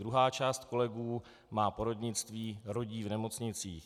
Druhá část kolegů má porodnictví, rodí v nemocnicích.